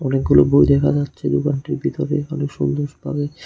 অনেকগুলো বই দেখা যাচ্ছে দোকানটির ভেতরে অনেক সুন্দরভাবে।